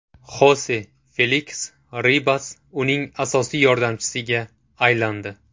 Xose Feliks Ribas uning asosiy yordamchisiga aylandi.